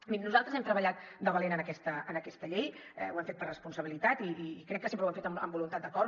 mirin nosaltres hem treballat de valent en aquesta llei ho hem fet per responsabilitat i crec que sempre ho hem fet amb voluntat d’acord